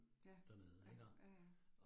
Ja, ja, ja ja